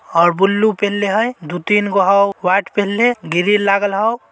--और ब्लू पहनले हइ दो तिन गो हु व्हाईट पहले गिरिल लागल हउ --